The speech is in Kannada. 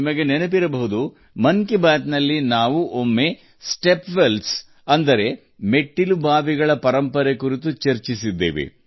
ನಿಮಗೆ ನೆನಪಿರಬಹುದು ಮನ್ ಕಿ ಬಾತ್ ನಲ್ಲಿ ನಾವು ಒಮ್ಮೆ ಮೆಟ್ಟಿಲು ಬಾವಿಗಳ ಪರಂಪರೆಯನ್ನು ಚರ್ಚಿಸಿದ್ದೇವೆ